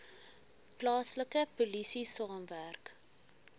plaaslike polisie saamwerk